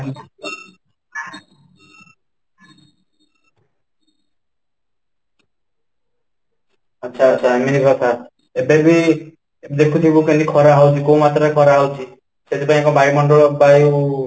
ଆଚ୍ଛା ,ଆଚ୍ଛା ଏମିତି କଥା ଏବେ ବି ଦେଖୁଥିବୁ କେମିତି ଖରା ହଉଛି କୋଉ ମାସ ରେ ଖରା ହଉଛି ସେଥିପାଇଁ କ'ଣ ବାୟୁ ମଣ୍ଡଳ ବାୟୁ